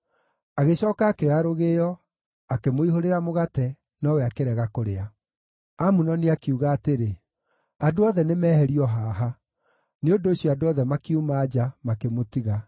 Agĩcooka akĩoya rũgĩo, akĩmũihũrĩra mũgate, nowe akĩrega kũrĩa. Amunoni akiuga atĩrĩ, “Andũ othe nĩmeherio haha.” Nĩ ũndũ ũcio andũ othe makiuma nja, makĩmũtiga.